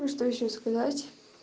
ну что ещё сказать